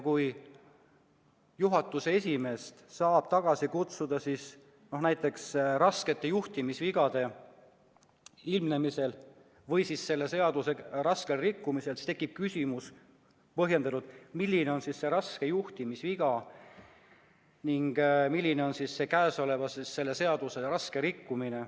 Kui juhatuse esimeest saab tagasi kutsuda näiteks raskete juhtimisvigade ilmnemisel või selle seaduse raskel rikkumisel, siis tekib põhjendatud küsimus, milline on raske juhtimisviga ning milline on käesoleva seaduse raske rikkumine.